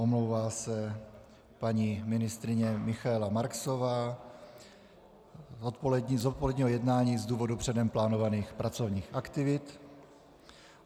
Omlouvá se paní ministryně Michaela Marksová z odpoledního jednání z důvodu předem plánovaných pracovních aktivit.